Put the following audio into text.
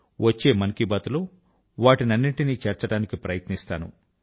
వచ్చే మన్ కీ బాత్ లో వాటినన్నింటిని చేర్చడానికి ప్రయత్నిస్తాను